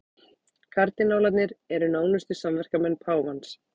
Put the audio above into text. Kardinálarnir eru nánustu samverkamenn páfans